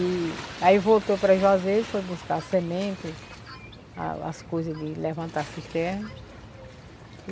E aí voltou para Juazeiro, foi buscar cisterna, a as coisas de levantar a cisterna.